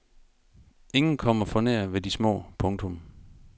Ingen kommer for nær ved de små. punktum